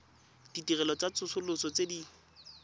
ditirelo tsa tsosoloso tse di